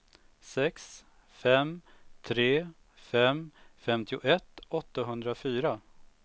sex fem tre fem femtioett åttahundrafyra